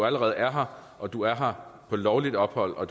allerede er her og er her på lovligt ophold og